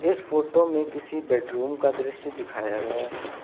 इस फोटो में किसी बेडरूम का दृश्य दिखाया गया है।